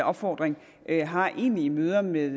opfordring har egentlige møder med